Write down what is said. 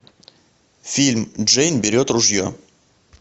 фильм джейн берет ружье